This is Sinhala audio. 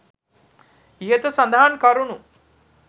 ඉහත සඳහන් කරුණු